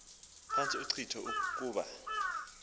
phantsi inkcitho kuba